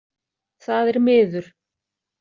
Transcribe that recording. Það er miður.